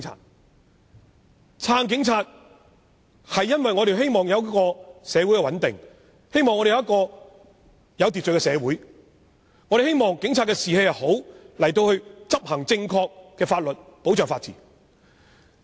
我們支持警察，因為我們希望社會穩定和有秩序，也希望警察士氣良好，能夠正確地執行法律和保障法治。